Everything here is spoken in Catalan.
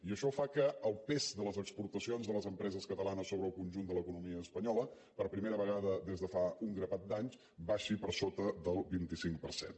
i això fa que el pes de les exportacions de les empreses catalanes sobre el conjunt de l’economia espanyola per primera vegada des de fa un grapat d’anys baixi per sota del vint cinc per cent